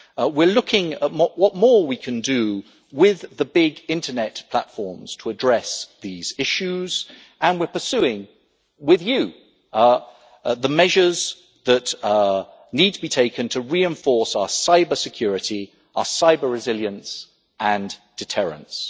We are looking at what more we can do with the big Internet platforms to address these issues and we are pursuing, with you, the measures that need to be taken to reinforce our cybersecurity, our cyber resilience and deterrence.